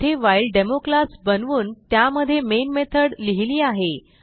येथे while demo class बनवून त्यामध्ये मेन मेथॉड लिहिलेली आहे